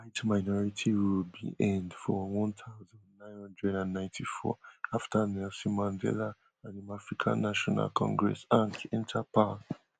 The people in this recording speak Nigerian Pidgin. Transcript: white minority rule bin end for one thousand, nine hundred and ninety-four afta nelson mandela and in african national congress an enta power